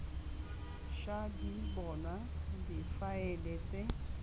ša di bonwa difaele tse